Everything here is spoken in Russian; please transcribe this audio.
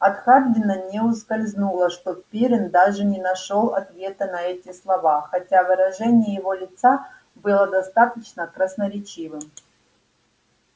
от хардина не ускользнуло что пиренн даже не нашёл ответа на эти слова хотя выражение его лица было достаточно красноречивым